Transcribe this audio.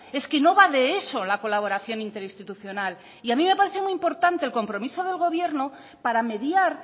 es que no va de eso la colaboración interinstitucional y a mí me parece muy importante el compromiso del gobierno para mediar